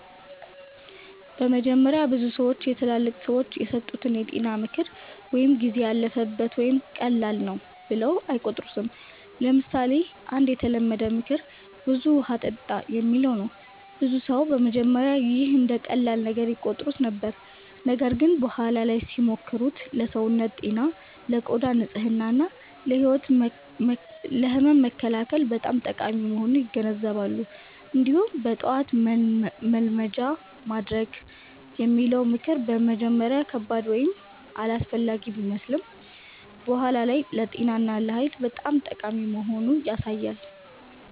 በመጀመሪያ ብዙ ሰዎች የትላልቅ ሰዎች የሰጡትን የጤና ምክር “ጊዜ ያለፈበት” ወይም “ቀላል ነው” ብለው አይቆጥሩትም። ለምሳሌ አንድ የተለመደ ምክር “ብዙ ውሃ ጠጣ” የሚለው ነው። ብዙ ሰዎች በመጀመሪያ ይህን እንደ ቀላል ነገር ይቆጥሩት ነበር፣ ነገር ግን በኋላ ላይ ሲሞክሩት ለሰውነት ጤና፣ ለቆዳ ንጽህና እና ለህመም መከላከል በጣም ጠቃሚ መሆኑን ይገነዘባሉ። እንዲሁም “በጠዋት መልመጃ ማድረግ” የሚለው ምክር በመጀመሪያ ከባድ ወይም አላስፈላጊ ቢመስልም በኋላ ላይ ለጤና እና ለኃይል በጣም ጠቃሚ መሆኑን ያሳያል።